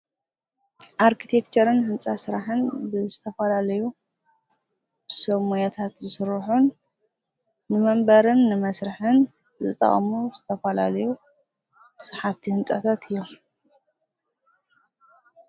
አርክቴክቸርን ህንፃ ስራሕን ብዝተፈላለዩ ሰብሞያታት ዝስርሑ ንመንበርን መስርሕን ዝጠቅሙ ዝተፈላለዩ ሰሓብቲ ህንፃታታት እዮሞ።